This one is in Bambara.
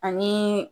Ani